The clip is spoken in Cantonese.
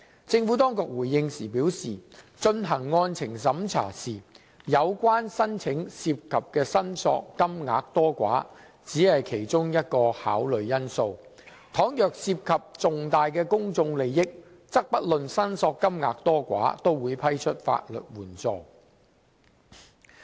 政府當局回應時表示，進行案情審查時，有關申請涉及的申索金額多寡，只是其中一項考慮因素，倘若涉及重大公眾利益，則不論申索金額多寡，也會批出法律援助。